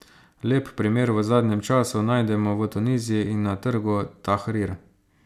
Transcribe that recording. Lep primer v zadnjem času najdemo v Tuniziji in na trgu Tahrir.